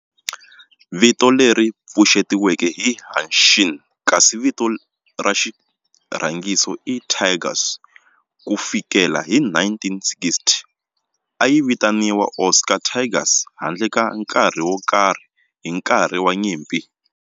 Vito leri pfuxetiweke i"Hanshin" kasi vito ra xirhangiso i"Tigers". Ku fikela hi 1960, a yi vitaniwa Osaka Tigers handle ka nkarhi wo karhi hi nkarhi wa nyimpi.